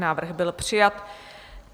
Návrh byl přijat.